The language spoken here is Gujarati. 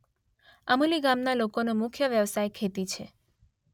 અમુલી ગામના લોકોનો મુખ્ય વ્યવસાય ખેતી છે.